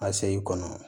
A seyi kɔnɔ